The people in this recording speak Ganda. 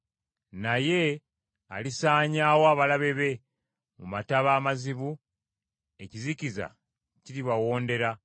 Naye alisaanyaawo abalabe be mu mataba amazibu, ekizikiza kiribawondera.